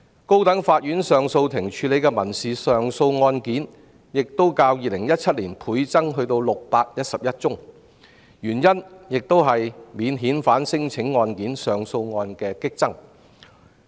高等法院上訴法庭處理的民事上訴案件亦較2017年倍增至611宗，原因是免遣返聲請案件上訴案激增。